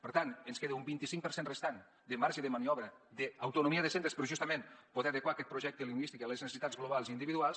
per tant ens queda un vint cinc per cent restant de marge de maniobra d’autonomia de centres però justament poder adequar aquest projecte lingüístic a les necessitats globals i individuals